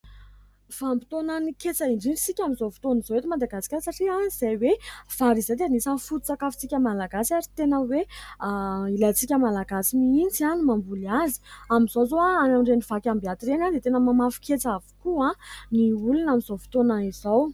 Vanim-potoana ny ketsa indrindra isika amin'izao fotoana izao eto Madagasikara satria izay hoe vary izay dia anisany fototsakafo tsika Malagasy ary tena hoe ilaintsika Malagasy mihitsy ny mamboly azy. Amin'izao zao amin'ireny vakiambiaty ireny dia tena mamafy ketsa avokoa ny olona amin'izao fotoana izao.